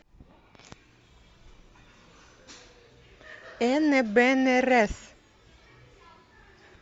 эне бене рес